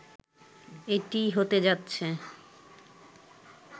এটিই হতে যাচ্ছে